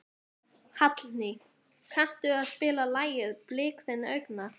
Hallný, kanntu að spila lagið „Blik þinna augna“?